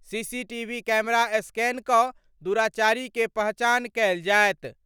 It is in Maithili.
सीसीटीवी कैमरा स्कैन क' दुराचारी के पहचान कयल जाएत।